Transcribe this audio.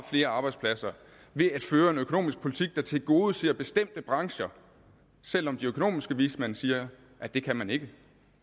flere arbejdspladser ved at føre en økonomisk politik der tilgodeser bestemte brancher selv om de økonomiske vismænd siger at det kan man ikke